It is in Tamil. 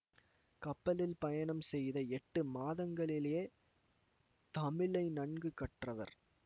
கப்பலில் பயணம் செய்த எட்டு மாதங்களிலேயே தமிழை நன்கு கற்றவர்